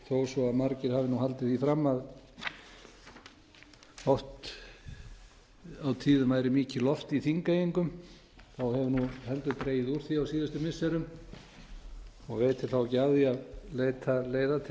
þó svo margir hafi haldið því fram að oft á tíðum væri mikið loft í þingeyingum hefur nú heldur dregið úr því á síðustu missirum og veitir þá ekki af því að leita leiða til þess að gasa